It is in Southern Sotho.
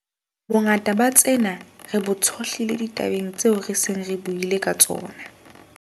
Bongata ba tsena re bo tshohlile ditabeng tseo re seng re buile ka tsona.